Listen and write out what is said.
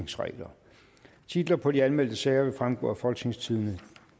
tredive titler på de anmeldte sager vil fremgå af folketingstidende